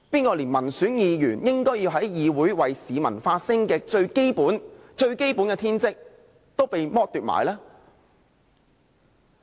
誰連民選議員應在議會內為市民發聲的最基本天職也剝奪了？